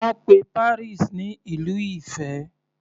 Wọ́n pe Paris ní Ìlú ìfẹ́.